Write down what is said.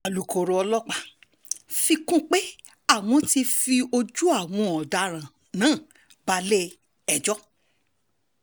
alūkkóró ọlọ́pàá fi kún un pé àwọn ti fojú àwọn ọ̀daràn náà balẹ̀-ẹjọ́